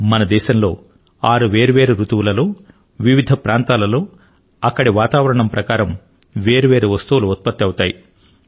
మన దేశంలో ఆరు వేర్వేరు రుతువులలో వివిధ ప్రాంతాలలో అక్కడి వాతావరణం ప్రకారం వేర్వేరు వస్తువులు ఉత్పత్తి అవుతాయి